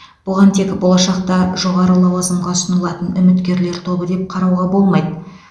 бұған тек болашақта жоғары лауазымға ұсынылатын үміткерлер тобы деп қарауға болмайды